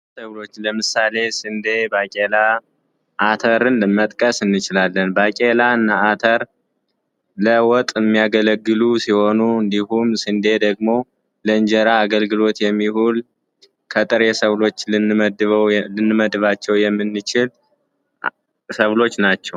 እህሎች ለምሳሌ ስንዴ፣ ባቄላ፣ አተርን መጥቀስ እንችላለን። በቄላ እና አተር ለውጥ የሚያገለግሉ ሲሆኑ እንዲሁም ስንዴ ደግሞ ለእንጀራ አገልግሎት የሚውል ከጥሬ ሰብሎች ልንመደበው የምንችለው ሰብሎች ናቸው።